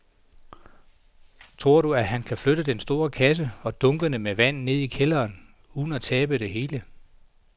Tror du, at han kan flytte den store kasse og dunkene med vand ned i kælderen uden at tabe det hele?